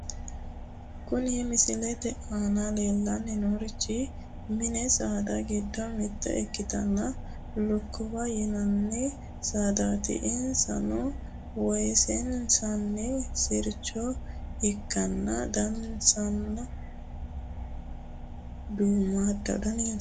Kuni misilete aana leellanni noorichi mini saada giddo mitte ikkitinoti lukkuwaho yinanni saadaati, insano woyyeessinoonni sircho ikkanna , danansano duummaaddaho,